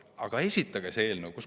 Aga esitage siis see eelnõu!